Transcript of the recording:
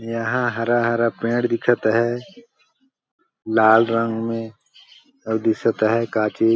यहाँ हरा-हरा पेड़ दिखत है लाल रंग में और दीसत है का ची --